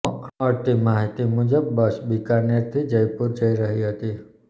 મળતી માહિતી મુજબ બસ બિકાનેરથી જયપુર જઈ રહી હતી